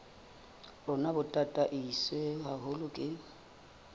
rona bo tataiswe haholo ke